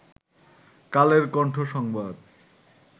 কালের কন্ঠ সংবাদ